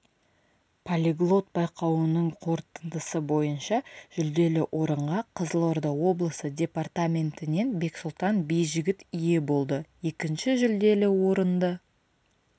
полиглот байқауының қорытындысы бойынша жүлделі орынға қызылорда облысы департаментінен бексұлтан бижігіт ие болды екінші жүлделі орынды